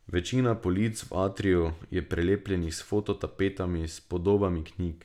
Večina polic v atriju je prelepljenih s fototapetami s podobami knjig.